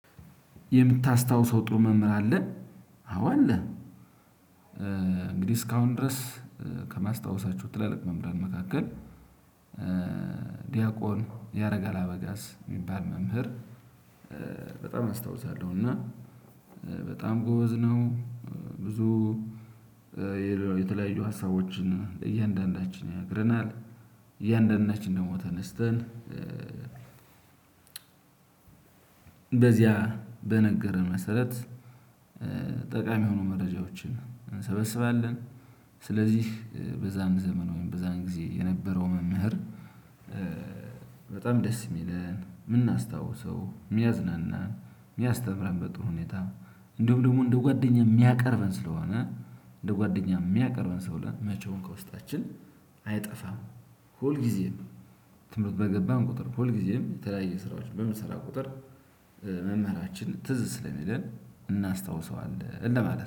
የምታስታውሰው ጥሩ መምህር አለ አዎ አለ። እንግዲህ እስካሁን ድረስ ከማስታወሳችሁ ትላልቅ መምህራን መካከል ዲያቆን ያረጋል አበጋዝ የሚባል መምህር በጣም አስታውሳለሁ። እና በጣም ጎበዝ ነው። ብዙ የተለያዩ ሀሳቦችን እያንዳንዳችን ይነግረናል። እያንዳንዳችን ደግሞ ተነስተን በዚያ በነገረን መሰረት ጠቃሚ የሆኑ መረጃዎችን እንሰበስባለን። ስለዚህ በዛን ዘመን ወይም በዛን ጊዜ የነበረው መምህር በጣም ደስ የሚለን ምናስታውሰው የሚያዝናና የሚያስተምረን በጣም ሁኔታ እንደውም ደግሞ እንደው ጓደኛ የሚያቀርበን ስለሆነ እንደ ጓደኛ የሚያቀርበን ሰው ላይ መቼውን ከውስጣችን አይጠፋም። ሁል ጊዜ ትምህርት በገባን ቁጥር ሁል ጊዜም የተለያየ ስራዎችን በምሰራ ቁጥር መምህራችን ትዝ ስለሚለን እናስታውሰዋለን። እንደማለት